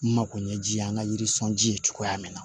N makoɲɛji an ka yiri sɔnji ye cogoya min na